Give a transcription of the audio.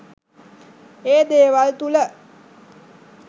ඒ දේවල් තුළ